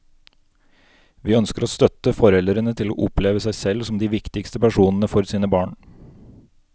Vi ønsker å støtte foreldrene til å oppleve seg selv som de viktigste personene for sine barn.